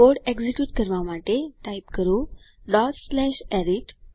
code execute કરવા માટે type કરો arith